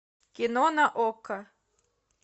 кино на окко